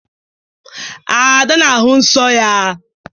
Ada na-ahụ nsọ ya.